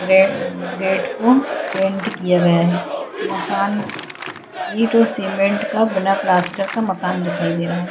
Gate gate को paint किया गया हैं मकान ईट और सीमेंट का बना प्लास्टर का मकान दिखाई दे रहा हैं।